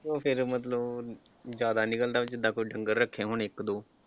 ਤੇ ਫਿਰ ਮਤਲਬ ਜਿਆਦਾ ਨਿਕਲਦਾ ਜਿੱਦਾਂ ਕੋਈ ਡੰਗਰ ਰੱਖੇ ਹੋਣ ਇੱਕ ਦੋ